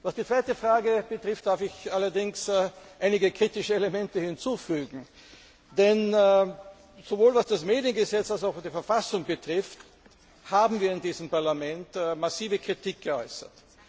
Was die zweite Frage betrifft, darf ich allerdings einige kritische Elemente hinzufügen, denn sowohl was das Mediengesetz als auch was die Verfassung betrifft, haben wir in diesem Parlament massive Kritik geäußert.